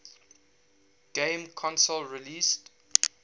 game console released